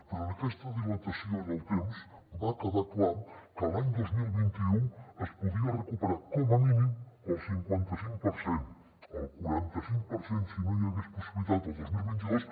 però en aquesta dilatació en el temps va quedar clar que l’any dos mil vint u se’n podia recuperar com a mínim el cinquantacinc per cent el quarantacinc per cent si no n’hi hagués possibilitat el dos mil vint dos